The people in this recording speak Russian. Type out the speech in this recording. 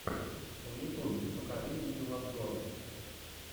в ютубе покажи видеообзоры